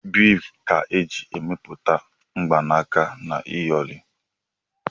Biidi ka eji emepụta mgbanaka na iyori.